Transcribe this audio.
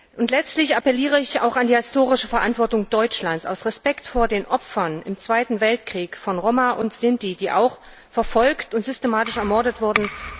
Und letztlich appelliere ich auch an die historische Verantwortung Deutschlands aus Respekt vor den Opfern im Zweiten Weltkrieg, von Roma und Sinti, die verfolgt und systematisch ermordet wurden.